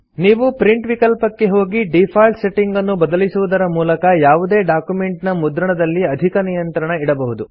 ನೀವು ಪ್ರಿಂಟ್ ವಿಕಲ್ಪಕ್ಕೆ ಹೋಗಿ ಡೀಫಾಲ್ಟ್ ಸೆಟ್ಟಿಂಗ್ ಅನ್ನು ಬದಲಿಸುವುದರ ಮೂಲಕ ಯಾವುದೇ ಡಾಕ್ಯುಮೆಂಟ್ ನ ಮುದ್ರಣದಲ್ಲಿ ಅಧಿಕ ನಿಯಂತ್ರಣ ಇಡಬಹುದು